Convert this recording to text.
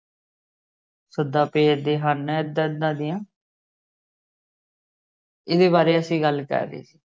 ਸੱਦਾ ਭੇਜਦੇ ਹਨ ਇਹਦਾ ਇਹਦਾ ਦੀਆ ਇਹਦੇ ਬਾਰੇ ਅਸੀ ਗੱਲ ਕਰ ਰਹੇ ਸੀ।